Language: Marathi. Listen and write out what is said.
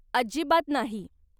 अजिबात नाही!